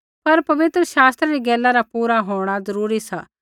पर पवित्र शास्त्रै री गैला रा पूरा होंणा ज़रूरी सा